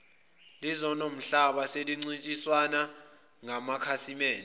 lezomhlaba selincintisana ngamakhasimede